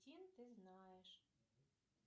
ты знаешь